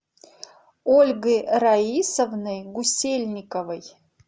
ольгой раисовной гусельниковой